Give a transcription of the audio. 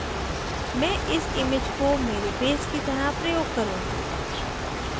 मैं इस image को मेरे base की तरह प्रयोग करुँगी